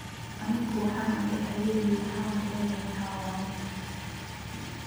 “Anigu waxaan ahay haweeney, waxaanan leeyahay xawaare.”